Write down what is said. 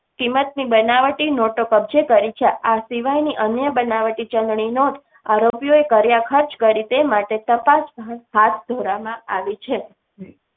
કિંમત ની બનાવટી નોટો કબ્જે કરી છે. આ સિવાય ની અન્ય બનાવટી ચલણી નોટ આરોપીઓએ કર્યા ખર્ચ કરેં તે માટે તપાસ હાથ ધરવા માં આવી છે.